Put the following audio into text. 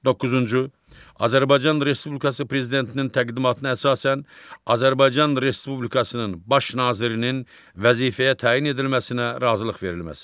Doqquzuncu, Azərbaycan Respublikası Prezidentinin təqdimatına əsasən Azərbaycan Respublikasının Baş nazirinin vəzifəyə təyin edilməsinə razılıq verilməsi.